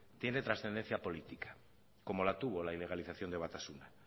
tiene trascendencia política como la tuvo la ilegalización de batasuna